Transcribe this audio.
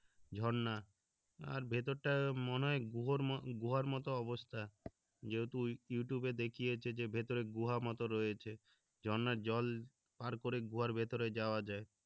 ঝর্ণা আর ভেতর টা মনে হয় গুহো গুহার মতো অবস্থা যেহেতু ওই ইউটিউবে দেখি হচ্ছে যে ভেতরে গুহা মত রয়েছে ঝর্ণার জল পার করে গুহার ভেতরে যাওয়া যায়